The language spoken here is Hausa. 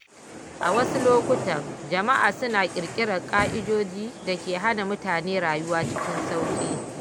A wasu lokuta, jama’a suna ƙirƙirar ka’idoji da ke hana mutane rayuwa cikin sauƙi.